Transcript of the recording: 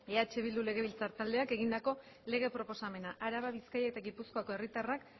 eh bildu legebiltzar taldeak egindako lege proposamena araba bizkaia eta gipuzkoako herritarrak